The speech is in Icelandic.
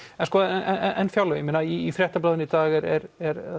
en fjárlögin ég meina í Fréttablaðinu í dag er